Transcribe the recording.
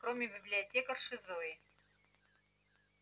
кроме библиотекарши зои